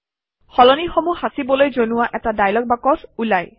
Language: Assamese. সলনিসমূহ সাঁচিবলৈ জনোৱা এটা ডায়লগ বাকচ ওলায়